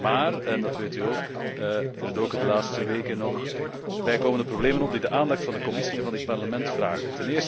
is maar, en dat weet u ook, er doken de laatste weken nog bijkomende problemen op die de aandacht van de Commissie en van dit Parlement vragen.